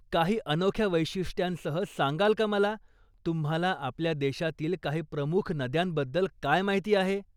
काही अनोख्या वैशिष्ट्यांसह सांगाल का मला तुम्हाला आपल्या देशातील काही प्रमुख नद्यांबद्दल काय माहिती आहे?